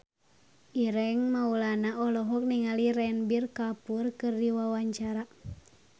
Ireng Maulana olohok ningali Ranbir Kapoor keur diwawancara